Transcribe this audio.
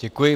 Děkuji.